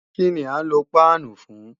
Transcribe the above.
Kíni à ń lo páánù fún?